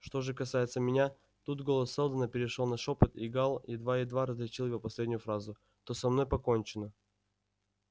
что же касается меня тут голос сэлдона перешёл на шёпот и гаал едва-едва различил его последнюю фразу то со мной покончено